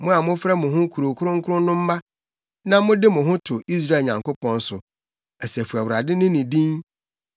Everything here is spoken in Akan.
mo a mofrɛ mo ho kurow kronkron no mma na mode mo ho to Israel Nyankopɔn so, Asafo Awurade ne ne din.